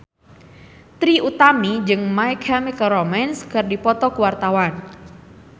Trie Utami jeung My Chemical Romance keur dipoto ku wartawan